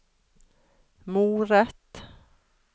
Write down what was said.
moret